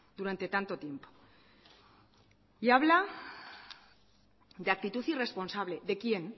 durante tanto tiempo y habla de actitud irresponsable de quién